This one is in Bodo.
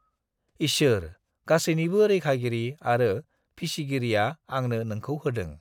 "ईसोर, गासैनिबो रैखागिरि आरो फिसिगिरिआ आंनो नोंखौ होदों।"